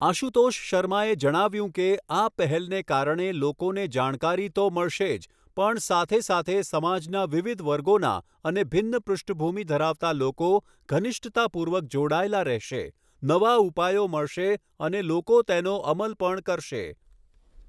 આશુતોષ શર્માએ જણાવ્યું કે આ પહેલને કારણે લોકોને જાણકારી તો મળશે જ પણ સાથે સાથે સમાજના વિવિધ વર્ગોના અને ભિન્ન પૃષ્ઠભૂમિ ધરાવતા લોકો ઘનિષ્ઠતાપૂર્વક જોડાયેલા રહેશે, નવા ઉપાયો મળશે અને લોકો તેનો અમલ પણ કરશે